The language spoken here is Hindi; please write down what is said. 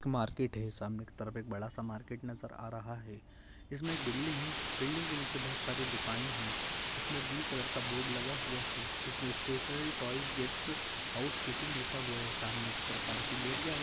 मार्केट है सामने के तरफ बडा सा मार्केट नजर आ रहा है इसमे एक बिल्डिंग है बिल्डिंग के नीचे बहुत सारे दुकाने है इसमे ब्लू कलर का बोर्ड लगा हुआ है इसमे स्टेशनरी टॉइज गिफ्टस हाउसकिपिंग लिखा हुआ है सामने के तरफ पार्किंग एरिया है।